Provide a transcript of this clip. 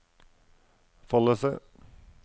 Follese